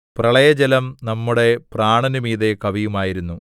പ്രളയജലം നമ്മളുടെ പ്രാണനു മീതെ കവിയുമായിരുന്നു